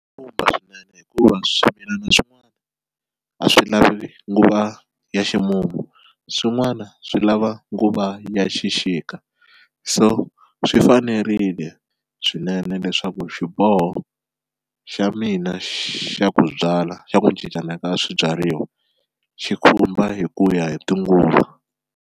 swinene hikuva swimilana swin'wana a swi lavi nguva ya ximumu swin'wana swi lava nguva ya xixika, so swi fanerile swinene leswaku xiboho xa mina xa ku byala xa ku cincana ka swibyariwa xi khumba hi ku ya hi tinguva.